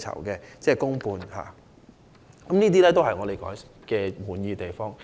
以上皆是我們感到滿意的地方。